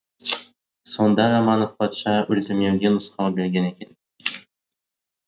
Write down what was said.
сонда романов патша өлтірмеуге нұсқау берген екен